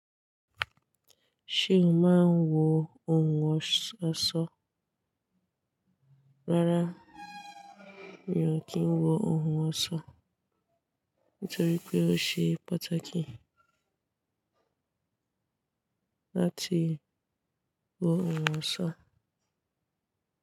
Ṣé o máa ń wo ohun ọ̀ṣọ́? Rárá mi ò kí ń wo ohun ọ̀ṣọ́ nítorí pé ó ṣe pàtàkì láti wo ohun ọ̀ṣọ́